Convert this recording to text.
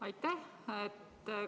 Aitäh!